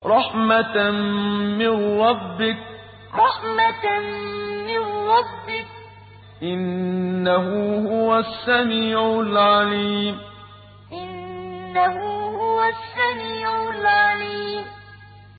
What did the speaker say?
رَحْمَةً مِّن رَّبِّكَ ۚ إِنَّهُ هُوَ السَّمِيعُ الْعَلِيمُ رَحْمَةً مِّن رَّبِّكَ ۚ إِنَّهُ هُوَ السَّمِيعُ الْعَلِيمُ